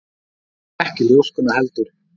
Og ekki ljóskuna heldur.